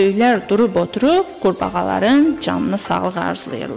Böyüklər durub oturub qurbağaların canına sağlıq arzulayırlar.